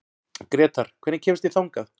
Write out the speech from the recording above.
Grétar, hvernig kemst ég þangað?